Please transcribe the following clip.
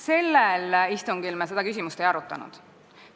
Sellel istungil me seda küsimust ei arutanud.